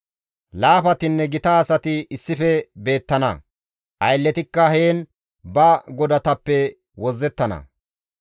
Laafatinne gita asati issife beettana; aylletikka heen ba godatappe wozzettana.